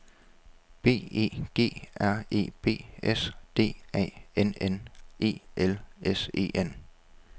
B E G R E B S D A N N E L S E N